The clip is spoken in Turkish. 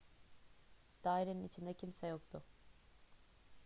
dairenin içinde kimse yoktu